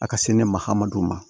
A ka se ne ma hadamadenw ma